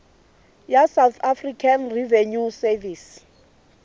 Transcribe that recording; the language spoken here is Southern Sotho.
ya south african revenue service